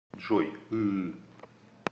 джой ыыы